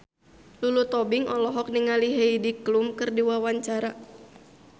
Lulu Tobing olohok ningali Heidi Klum keur diwawancara